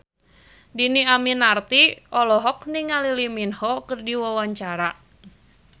Dhini Aminarti olohok ningali Lee Min Ho keur diwawancara